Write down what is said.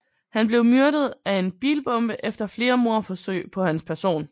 Han blev myrdet af en bilbombe efter flere mordforsøg på hans person